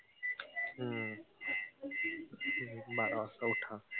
हम्म बारा वाजता ऊठा.